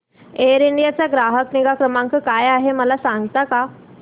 air India चा ग्राहक निगा क्रमांक काय आहे मला सांगता का